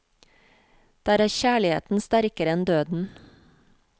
Der er kjærligheten sterkere enn døden.